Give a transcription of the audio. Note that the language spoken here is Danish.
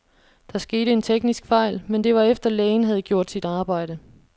Der skete en teknisk fejl, men det var efter, lægen havde gjort sit arbejde.